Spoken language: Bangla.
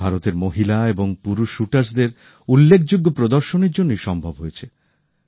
এটা ভারতের মহিলা এবং পুরুষ শুটার্সদের উল্লেখযোগ্য প্রদর্শনের জন্যই সম্ভব হয়েছে